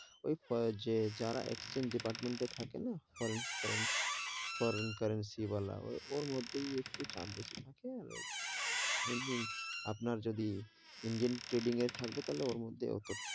ওই যে যারা exchange department এ থাকে না, foreign, foreign, foreign currency বালা ওর মধ্যে একটু চাপ বেশি থাকে, আর এমনি আপনার যদি ইন্ডিয়ান trading এ থাকবে তাহলে ওর মধ্যে অটো,